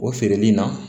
O feereli in na